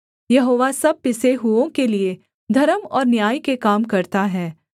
यहोवा सब पिसे हुओं के लिये धर्म और न्याय के काम करता है